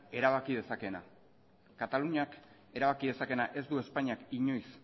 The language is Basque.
erabaki dezakeena kataluniak erabaki dezakeena ez du espainiak inoiz